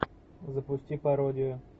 запусти пародию